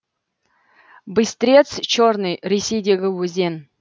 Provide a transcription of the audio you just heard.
быстрец черный ресейдегі өзен